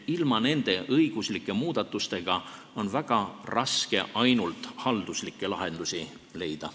Ilma õiguslike muudatusteta on väga raske ainult halduslikke lahendusi leida.